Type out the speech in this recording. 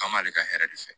K'an b'ale ka hɛrɛ de fɛ